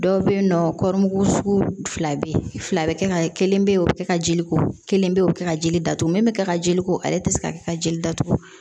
Dɔw bɛ yen nɔ kɔri sugu fila bɛ yen fila bɛ kɛ ka kelen bɛ yen o bɛ kɛ ka jeliko kelen bɛ yen o bɛ kɛ ka jeli datugu min bɛ kɛ ka jeliko ale tɛ se ka kɛ ka jeli datugu